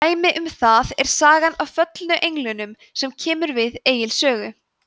dæmi um það er sagan af föllnu englunum sem kemur við egils sögu